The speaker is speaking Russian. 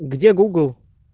где гугл